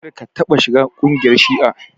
Kar ka taɓa shiga kungiyar shi'a!